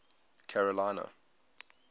carolina